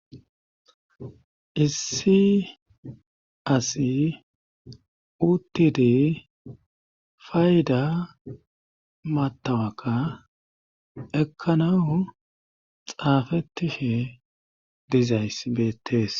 issi asi uttidi fayda matawakka ekkana xaafetishe dizayss beettees